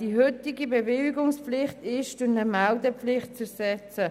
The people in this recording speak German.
Die heutige Bewilligungspflicht ist durch eine Meldepflicht zu ersetzen.